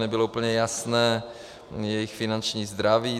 Nebylo úplně jasné jejich finanční zdraví.